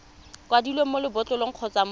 kwadilweng mo lebotlolong kgotsa mo